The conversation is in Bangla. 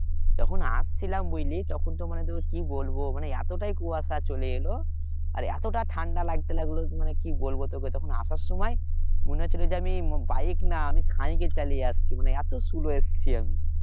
যখন আসছিলাম বুঝলি তখন তো মানে তোকে কি বলবো মানে এতটাই কুয়াশা চলে এলো আর এতটা ঠান্ডা লাগতে লাগলো মানে কি বলবো তোকে তখন আসার সময় মনে হচ্ছিল যে আমি bike না cycle চালিয়ে এসেছি আমি আমি এত slow এসেছি আমি